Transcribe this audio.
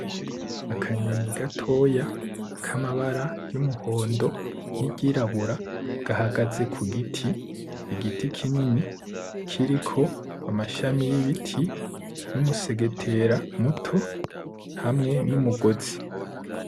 Akanyoni gatoya kamabara y’umuhondo n’iryirabura gahagaze ku giti, igiti kinini kiriko amashami y’ibiti n’umusegetera muto hamwe n’umugozi.